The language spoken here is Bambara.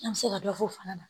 An bɛ se ka dɔ fɔ o fana na